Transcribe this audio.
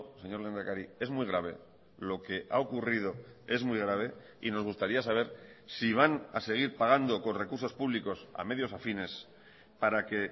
señor lehendakari es muy grave lo que ha ocurrido es muy grave y nos gustaría saber si van a seguir pagando con recursos públicos a medios afines para que